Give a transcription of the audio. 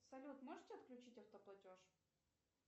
салют можете отключить автоплатеж